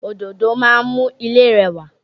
Òdòdó máa mú ilé rẹwà